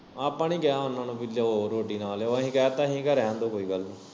ਆਪਾਂ ਨੀ ਕਿਆ ਉਨਾਂ ਨੂੰ ਪੀ ਰੋਟੀ ਲਿਆਉ ਨਾ ਲਿਆਉ ਅਹੀ ਕਹਿਤਾ ਅਹੀ ਰੈਨਦੋ ਕੋਈ ਗੱਲ ਨੀ।